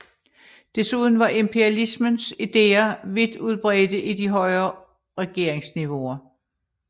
Desuden var imperialismens ideer vidt udbredte i de højere regeringsniveauer